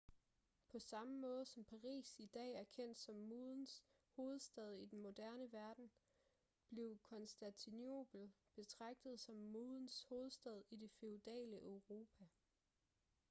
på samme måde som paris i dag er kendt som modens hovedstad i den moderne verden blev konstantinopel betragtet som modens hovedstad i det feudale europa